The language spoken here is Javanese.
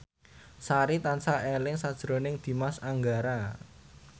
Sari tansah eling sakjroning Dimas Anggara